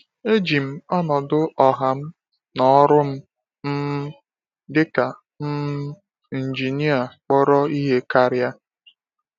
E ji m ọnọdụ ọha m na ọrụ m um dị ka um injinia kpọrọ ihe karịa.